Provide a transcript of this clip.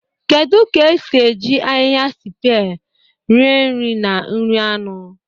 Kedu ka esi eji ahịhịa sipie rie nri na nri anụ?